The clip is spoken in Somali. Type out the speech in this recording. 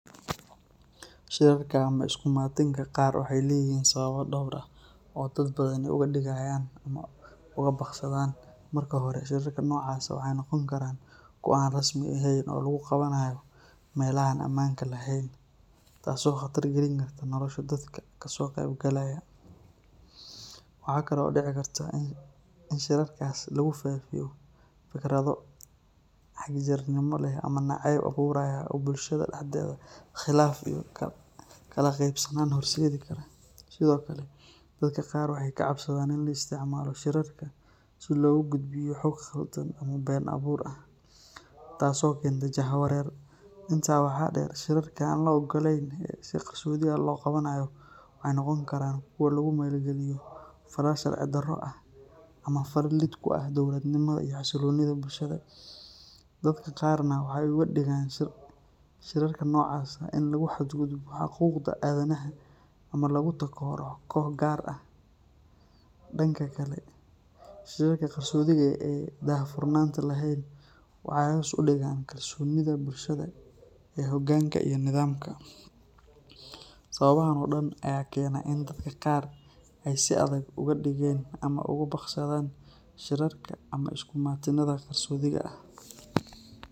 Shirarka ama isu imaatinka qar waxay leeyihiin sababo dhowr ah oo dad badani uga digayaan ama uga baaqsadaan. Marka hore, shirarka noocaas ah waxay noqon karaan kuwo aan rasmi ahayn oo lagu qabanayo meelaha aan amaanka lahayn taasoo khatar gelin karta nolosha dadka ka soo qayb galaya. Waxaa kale oo dhici karta in shirarkaas lagu faafiyo fikrado xagjirnimo leh ama nacayb abuuraya oo bulshada dhexdeeda khilaaf iyo kala qaybsanaan horseedi kara. Sidoo kale, dadka qaar waxay ka cabsadaan in la isticmaalo shirarka si loogu gudbiyo xog khaldan ama been abuur ah, taasoo keenta jahawareer. Intaa waxaa dheer, shirarka aan la oggolayn ee si qarsoodi ah loo qabanayo waxay noqon karaan kuwo lagu maleegayo falal sharci-darro ah ama falal lid ku ah dowladnimada iyo xasiloonida bulshada. Dadka qaarna waxay uga digaan shirarka noocaas ah in lagu xadgudbo xuquuqda aadanaha ama lagu takooro koox gaar ah. Dhanka kale, shirarka qarsoodiga ah ee aan daahfurnaanta lahayn waxay hoos u dhigaan kalsoonida bulshada ee hoggaanka iyo nidaamka. Sababahan oo dhan ayaa keena in dadka qaar ay si adag uga digeen ama uga baaqsadaan shirarka ama isu imaatinnada qarsoodiga ah.